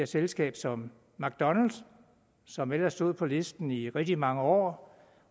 selskab som mcdonalds som ellers stod på listen i rigtig mange år